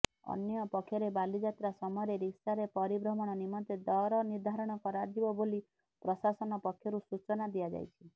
ଅନ୍ୟପକ୍ଷରେ ବାଲିଯାତ୍ରା ସମୟରେ ରିକ୍ସାରେ ପରିଭ୍ରମଣ ନିମନ୍ତେ ଦର ନିର୍ଦ୍ଧାରଣ କରାଯିବ ବୋଲି ପ୍ରଶାସନ ପକ୍ଷରୁ ସୂଚନା ଦିଆଯାଇଛି